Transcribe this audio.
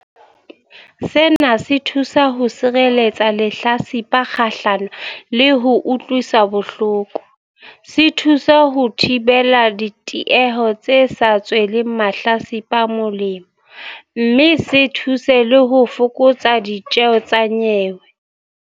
Sena se thusa ho sireletsa lehlatsipa kgahlano le ho utlwiswa bohloko, se thusa ho thibela ditieho tse sa tsweleng mahlatsipa molemo, mme se thuse le ho fokotsa ditjeho tsa nyewe.